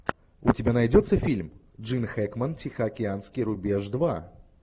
у тебя найдется фильм джин хэкмен тихоокеанский рубеж два